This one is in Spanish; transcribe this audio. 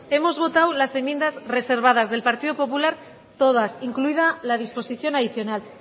hemos votado las enmiendas reservadas del partido popular todas incluida la disposición adicional